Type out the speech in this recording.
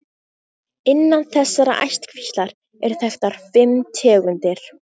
Innan þessarar ættkvíslar eru þekktar fimm tegundir.